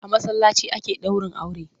A masallaci ake ɗaurin aure.